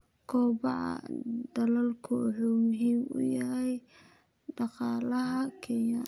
Kobaca dalaggu wuxuu muhiim u yahay dhaqaalaha Kenya.